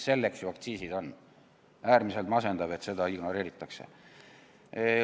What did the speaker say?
Selleks ju aktsiisid on ja äärmiselt masendav, kui seda ignoreeritakse.